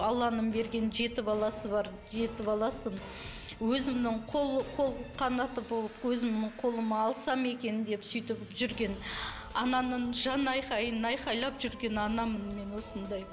алланың берген жеті баласы бар жеті баласын өзімнің қол қол қанаты болып өзімнің қолыма алсам екен деп сөйтіп жүрген ананың жан айқайын айқайлап жүрген анамын мен осындай